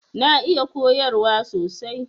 Na iya koyarwa sosai.